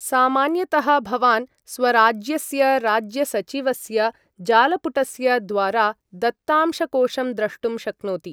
सामान्यतः भवान् स्वराज्यस्य राज्यसचिवस्य जालपुटस्य द्वारा दत्तांशकोशं द्रष्टुं शक्नोति।